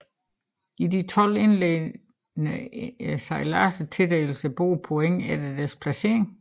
I de 12 indledende sejladser tildeles bådene points efter deres placering